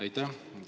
Aitäh!